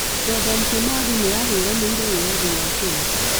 Dedan Kimathi nĩ ahũranĩire wĩyathi wa Kenya.